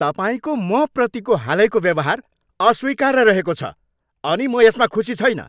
तपाईँको मप्रतिको हालैको व्यवहार अस्वीकार्य रहेको छ अनि म यसमा खुसी छैन।